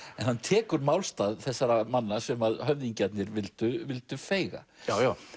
hann tekur málstað þessara manna sem höfðingjarnir vildu vildu feiga já já